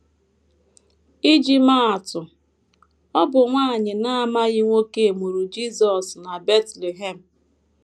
Iji maa atụ: Ọ bụ nwanyị na - amaghị nwoke mụrụ Jisọs na Betlehem.